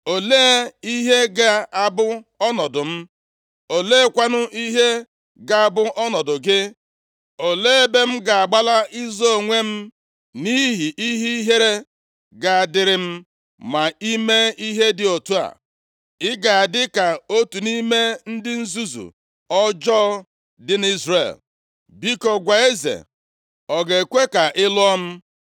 Olee ihe ga-abụ ọnọdụ m? Oleekwanụ ihe ga-abụ ọnọdụ gị? Olee ebe m ga-agbala izo onwe m nʼihi ihe ihere ga-adịrị m ma i mee ihe dị otu a? Ị ga-adị ka otu nʼime ndị nzuzu ọjọọ dị nʼIzrel. Biko, gwa eze, ọ ga-ekwe ka ị lụọ m.”